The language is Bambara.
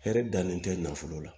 Hɛrɛ dannen tɛ nafolo la